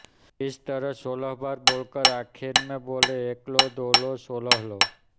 इस तरह सोलह बार बोल कर आखिरी में बोलें एकलो दोलो सोलहलो